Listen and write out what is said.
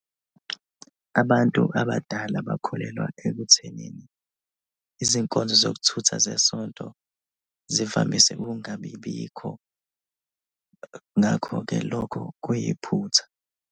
Abantu abadala bakholelwa ekuthenini izinkonzo zokuthutha zesonto zivamise ukungabibikho ngakho-ke lokho kuyiphutha.